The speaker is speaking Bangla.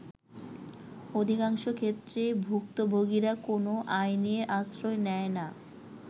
অধিকংশ ক্ষেত্রেই ভুক্তভোগিরা কোন আইনের আশ্রয় নেয় না।।